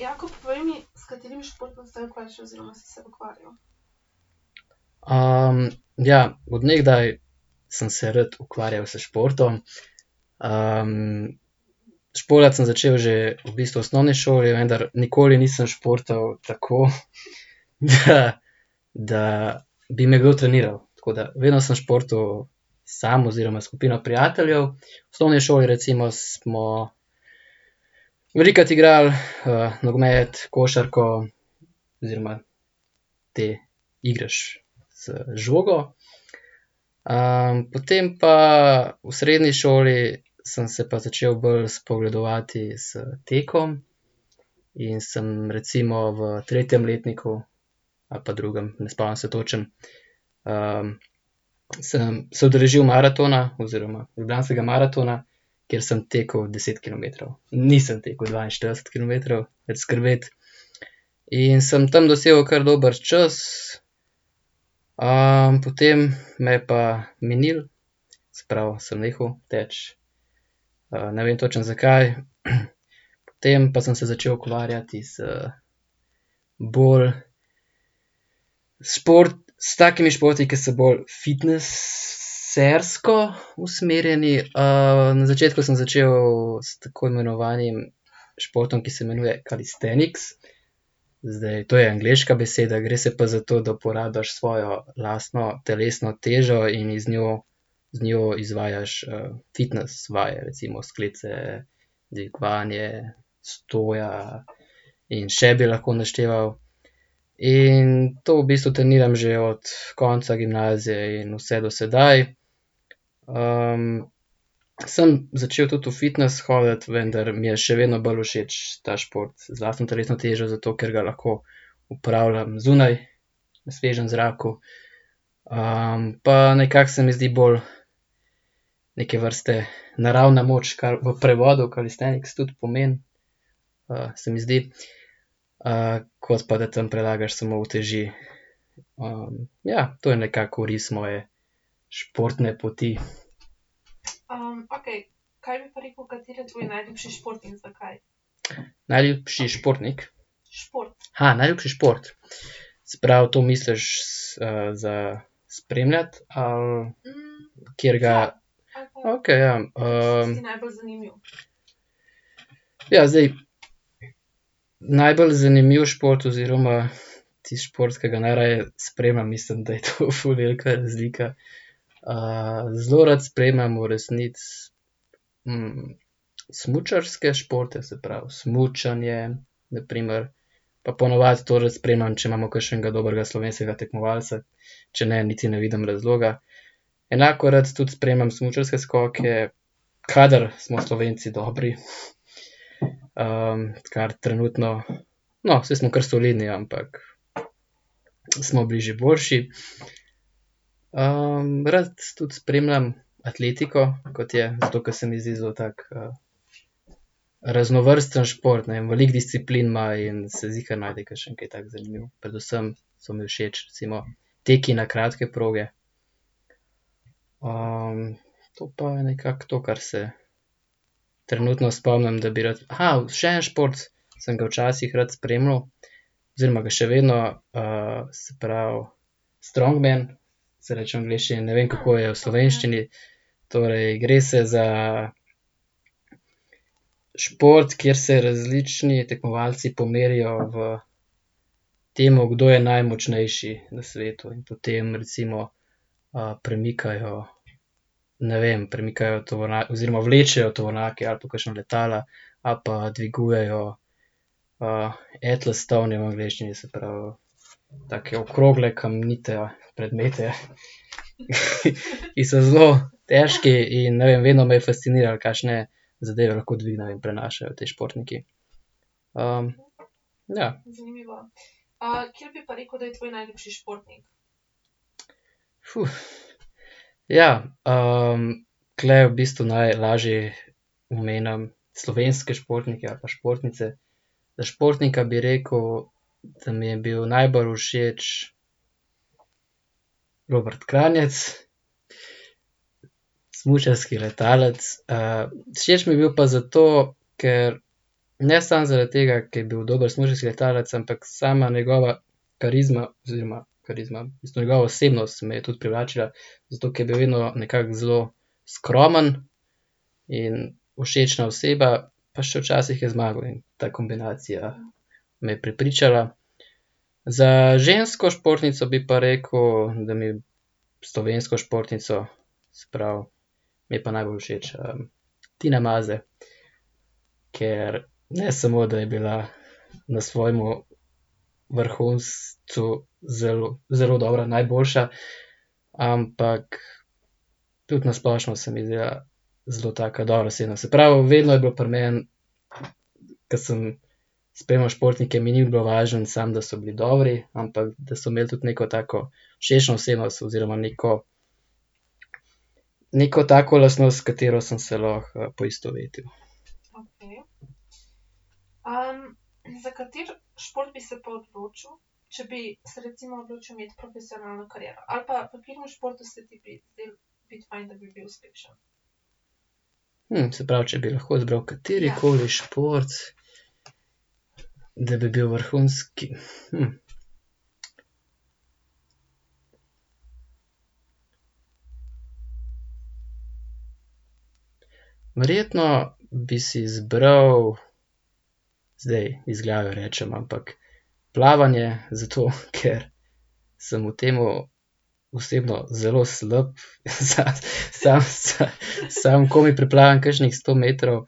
ja, od nekdaj sem se rad ukvarjal s športom, športati sem začel že v bistvu v osnovni šoli, vendar nikoli nisem športal tako, da bi me kdo treniral, tako da vedno samo športal sam oziroma s skupino prijateljev. V osnovni šoli, recimo, smo velikokrat igrali, nogomet, košarko oziroma te igre z žogo. potem pa, v srednji šoli sem se pa začel bolj spogledovati s tekom in sem recimo v tretjem letniku ali pa drugem, ne spomnim se točno, sem se udeležil maratona oziroma Ljubljanskega maratona, kjer sem tekel deset kilometrov, nisem tekel dvainštirideset kilometrov, nič skrbeti, in sem tam dosegel kar dober čas, potem me je pa minilo, se pravi, sem nehal teči, ne vem točno, zakaj, potem pa sem se začel ukvarjati z bolj s takimi športi, ki so bolj fitnesersko usmerjeni, na začetku sem začel s tako imenovanim športom, ki se imenuje calisthenics. Zdaj to je angleška beseda, gre se pa za to, da uporabiš svojo lastno telesno težo in z njo, z njo izvajaš, fitnes vaje, recimo sklece, dvigovanje, stoja in še bi lahko našteval. In to v bistvu treniram že od konca gimnazije in vse do sedaj, sem začel tudi v fitnes hoditi, vendar mi je še vedno bolj všeč ta šport z lastno telesno težo, zato ker ga lahko opravljam zunaj na svežem zraku. pa nekako se mi zdi bolj neke vrste naravna moč, kar po prevodu calisthenics tudi pomeni, se mi zdi, kot pa da tam prelagaš samo uteži. ja, to je nekako oris moje športne poti. Najljubši športnik? najljubši šport. Se pravi, to misliš za spremljati ali ... Katerega ... Okej, ja. ... Ja, zdaj najbolj zanimiv šport oziroma tisti šport, ke ga najraje spremljam, mislim, da je to ful velika razlika. zelo rad spremljam v resnici, smučarske športe, se pravi, smučanje, na primer, pa ponavadi to rad spremljam, če imamo kakšnega dobrega slovenskega tekmovalca, če ne, niti ne vidim razloga. Enako rad tudi spremljam smučarske skoke, kadar smo Slovenci dobri. kar trenutno ... No, saj smo kar solidni, ampak smo bili že boljši. rad tudi spremljam atletiko, kot je ... Zato, ke se mi zdi zelo tak, raznovrsten šport, ne, veliko disciplin ima in se ziher najde kakšen, ke je tako zanimiv, predvsem so mi všeč recimo teki na kratke proge. to pa nekako to, kar se trenutno spomnim, da bi rad ... še, en šport, ki sem ga včasih rad spremljal oziroma ga še vedno, se pravi, strongman, se reče v angleščini, ne vem, kako je v slovenščini. Torej, gre se za šport, kjer se različni tekmovalci pomerijo v tem, kdo je najmočnejši na svetu, potem, recimo, premikajo, ne vem, premikajo oziroma vlečejo tovornjake ali pa kakšna letala ali pa dvigujejo, atlas stone je v angleščini, se pravi, take okrogle kamnite predmete, ki so zelo težki, in ne vem, vedno me je fasciniralo, kakšne zadeve lahko dvignejo in prenašajo te športniki. ja. ja, tule v bistvu najlaže omenim slovenske športnike ali pa športnice. Za športnika bi rekel, da mi je bil najbolj všeč Robrt Kranjec, smučarski letalec, všeč mi je bil pa zato, ker, ne samo zaradi tega, ker je bil dober smučarski letalec, ampak sama njegova karizma oziroma, karizma, njegova osebnost me je tudi privlačila, zato ke je bil vedno nekako zelo skromen in všečna oseba, pa še včasih je zmagal, ne, ta kombinacija me je prepričala. Za žensko športnico bi pa rekel, da mi ... Slovensko športnico, se pravi, mi je pa najbolj všeč, Tina Maze, ker ne samo, da je bila na svojem vrhuncu zelo, zelo dobra, najboljša, ampak tudi na splošno se mi je zdela zelo taka dobra oseba, se pravi, vedno je bilo pri meni, ke sem spremljal športnike, mi ni bilo važno samo, da so bili dobri, ampak da so imeli tudi neko tako všečno osebnost oziroma neko, neko tako lastnost, s katero sem se lahko, poistovetil. se pravi, če bi lahko izbral katerikoli šport, da bi bil vrhunski, ... Verjetno bi si izbral, zdaj iz glave rečem, ampak plavanje, zato ker samo v tem osebno zelo slab , sam, sam komaj preplavam kakšnih sto metrov.